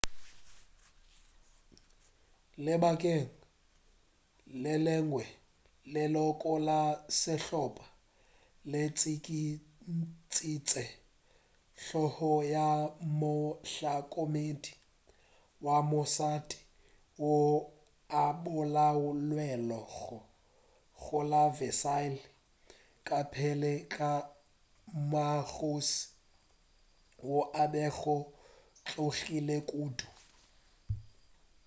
lebakeng le lengwe leloko la sehlopa le tšikintšitše hlogo ya mohlokomedi wa mošate yo a bolailwego go la versaille ka pele ga mmakgoši wo a bego a tšhogile kudu